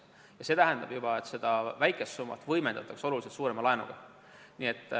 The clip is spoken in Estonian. Ja see tähendab juba, et seda väikest summat võimendatakse oluliselt suurema laenuga.